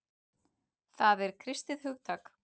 Það er kristið hugtak.